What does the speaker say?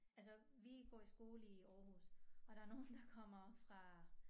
Altså vi går i skole i Aarhus og der nogle der kommer fra